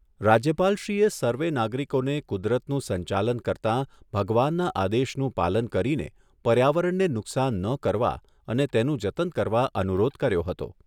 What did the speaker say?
રાજ્યપાલશ્રીએ સર્વે નાગરિકોને કુદરતનું સંચાલન કરતાં ભગવાનના આદેશનું પાલન કરીને પર્યાવરણને નુકશાન ન કરવા અને તેનું જતન કરવા અનુરોધ કર્યો હતો.